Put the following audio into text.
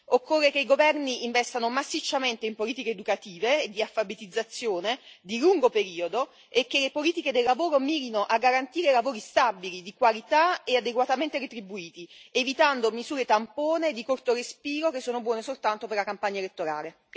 Occorre che i governi investano massicciamente in politiche educative e di alfabetizzazione di lungo periodo, e che le politiche del lavoro mirino a garantire lavori stabili, di qualità e adeguatamente retribuiti, evitando misure tampone e di corto respiro, che sono buone soltanto per la campagna elettorale.